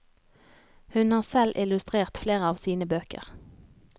Hun har selv illustrert flere av sine bøker.